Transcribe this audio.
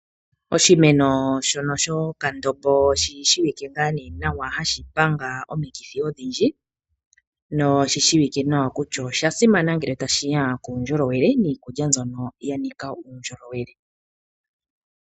Oshimeno shono shokandombo oshishiwike nga ne nawa hashi panga omikithi odhindji na oshishiwike nawa kutya oshasimana ngele tashiya kuundjolowele niikulya mbyono yanika uundjolowele.